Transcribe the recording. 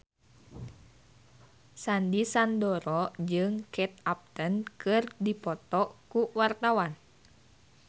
Sandy Sandoro jeung Kate Upton keur dipoto ku wartawan